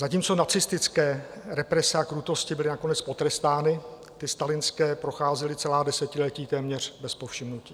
Zatímco nacistické represe a krutosti byly nakonec potrestány, ty stalinské procházely celá desetiletí téměř bez povšimnutí.